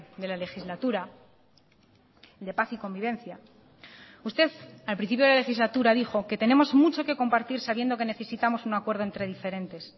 de la legislatura de paz y convivencia usted al principio de la legislatura dijo que tenemos mucho que compartir sabiendo que necesitamos un acuerdo entre diferentes